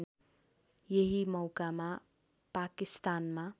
यही मौकामा पाकिस्तानमा